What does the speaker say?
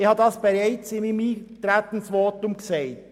Ich habe das bereits in meinem Eintretensvotum gesagt.